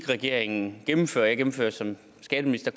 regeringen gennemfører og jeg gennemfører som skatteminister